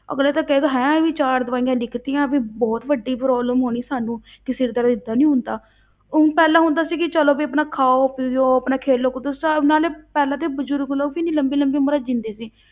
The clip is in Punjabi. ਅਗਲਾ ਤਾਂ ਕਹੇਗਾ ਹੈਂ ਇਹ ਚਾਰ ਦਵਾਈਆਂ ਲਿਖ ਦਿੱਤੀਆਂ ਵੀ ਬਹੁਤ ਵੱਡੀ problem ਹੋਣੀ ਸਾਨੂੰ ਕਿ ਸਿਰ ਦਰਦ ਏਦਾਂ ਨੀ ਹੁੰਦਾ ਉਹ ਪਹਿਲਾਂ ਹੁੰਦਾ ਸੀ ਕਿ ਚਲੋ ਵੀ ਆਪਣਾ ਖਾਓ ਪੀਓ, ਆਪਣਾ ਖੇਲੋ ਕੁੱਦੋ ਸਭ ਨਾਲੇ, ਪਹਿਲਾਂ ਤਾਂ ਬਜ਼ੁਰਗ ਲੋਕ ਇੰਨੀ ਲੰਬੀ ਲੰਬੀ ਉਮਰਾਂ ਜਿਉਂਦੇ ਸੀ